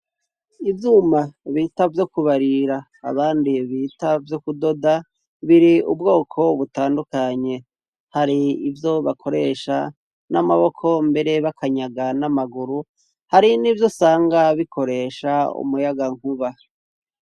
Ivyuma bita vyo kubarira abandi ye bita vyo kudoda biri ubwoko butandukanye hari ivyo bakoresha n'amaboko mbere b'akanyaga n'amaguru hari n'ivyo sanga bikoresha umuyaga nkuba.